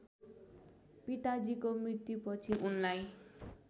पिताजीको मृत्युपछि उनलाई